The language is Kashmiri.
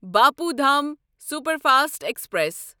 Bapu Dham superfast express